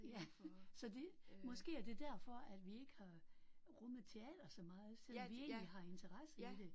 Ja så det måske er det derfor at vi ikke har rummet teater så meget selvom vi egentlig har interesse i det